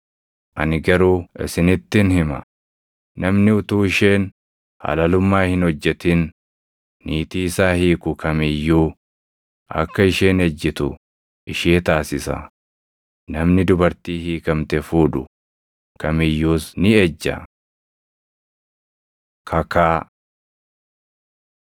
Ani garuu isinittin hima; namni utuu isheen halalummaa hin hojjetin niitii isaa hiiku kam iyyuu akka isheen ejjitu ishee taasisa; namni dubartii hiikamte fuudhu kam iyyuus ni ejja. Kakaa